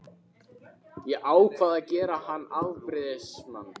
Ég ákvað að gera hann afbrýðisaman.